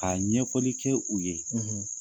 Ka ɲɛfɔli kɛ u ye